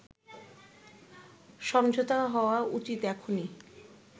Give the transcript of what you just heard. সমঝোতা হওয়া উচিত এখনই”